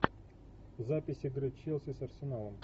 запись игры челси с арсеналом